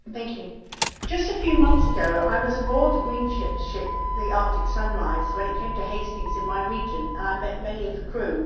Mr President, just a few months ago I was aboard the Greenpeace ship, the Arctic Sunrise, when it came to Hastings in my region, and I met many of the crew.